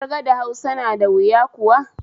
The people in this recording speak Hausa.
Ƙirga da Huasa na da wuya kuwa?